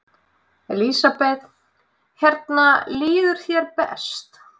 Elísabet: Hérna líður þér best?